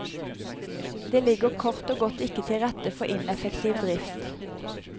Det ligger kort og godt ikke til rette for ineffektiv drift.